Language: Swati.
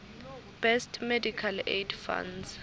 best medical aid funds